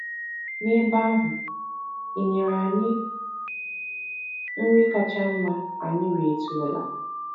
N’ebe ahụ, e nyere anyị nri kacha mma anyị rietụrụla.